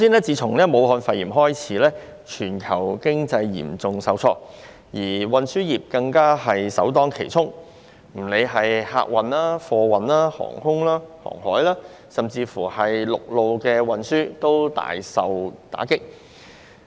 自武漢肺炎爆發至今，全球經濟嚴重受創，而運輸業更首當其衝，不論是客運、貨運、空運、海運，以致陸路運輸均大受打擊。